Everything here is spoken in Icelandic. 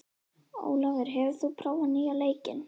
Ólafur, hefur þú prófað nýja leikinn?